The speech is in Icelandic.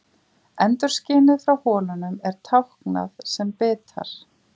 Endurskinið frá holunum er táknað sem bitar.